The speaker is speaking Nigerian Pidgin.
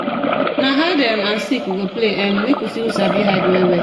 Na hide um and seek we go play, um make we see who sabi hide well-well.